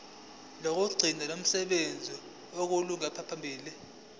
lokugcina lokusebenza olungaphambi